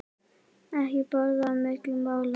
Ekki borða á milli mála.